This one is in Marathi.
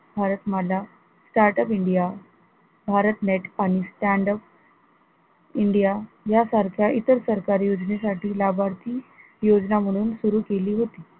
Bharat Mala, startup india Bharat make आणि standup India यासारख्या इतर सरकारी योजनेसाठी लाभार्थी योजना म्हणून सुरु केली होती.